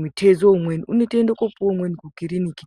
mutezo umweni unotoende kopuwe umweni kukiriniki